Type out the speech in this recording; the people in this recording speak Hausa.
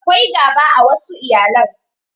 Akwai gaba a wassu iyalan